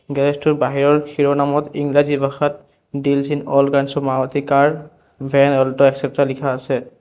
Garage টোৰ বাহিৰৰ শিৰোনামত ইংৰাজী ভাষাত deals in all kinds of Maruti car van Alto etcetera লিখা আছে।